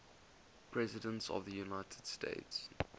presidents of the united states